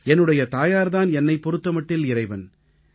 என்னுடைய தாயார் தான் என்னைப் பொறுத்த மட்டில் இறைவன்